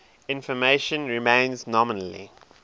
information remains nominally